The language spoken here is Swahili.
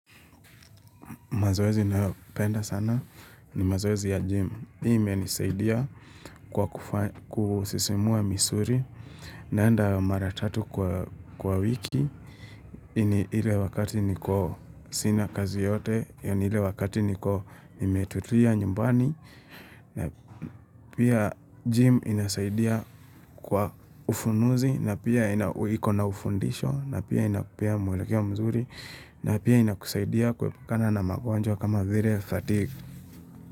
Mazoezi ninayopenda sana ni mazoezi ya gym. Hii ime nisaidia kwa kusisimua misuri naenda maratatu kwa wiki. Ile wakati niko sina kazi yoyote, yani ile wakati niko nimetulia nyumbani. Pia gym inasaidia kwa ufunuzi na pia ikona ufundisho na pia inapea mwelekeo mzuri na pia inakusaidia kuepukana na magonjwa kama vile ya fatigue.